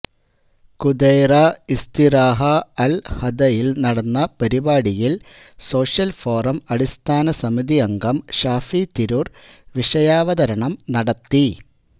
ഖുദൈറ ഇസ്തിറാഹ അല് ഹദയില് നടന്ന പരിപാടിയില് സോഷ്യല് ഫോറം സംസ്ഥാന സമിതി അംഗം ഷാഫി തിരൂര് വിഷയാവതരണം നടത്തി